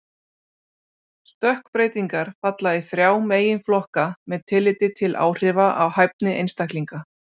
Stökkbreytingar falla í þrjá meginflokka með tilliti til áhrifa á hæfni einstaklinga.